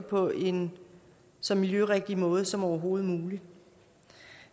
på en så miljørigtig måde som overhovedet muligt